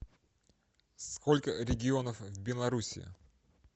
сколько регионов в белоруссии